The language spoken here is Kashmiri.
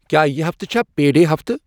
کیٛاہ یہِ ہفتہٕ چھَا پے ڈے ہفتہٕ